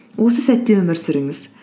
осы сәтте өмір сүріңіз